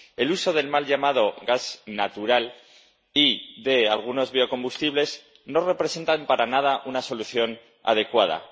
El uso del mal llamado gas natural y de algunos biocombustibles no representa para nada una solución adecuada.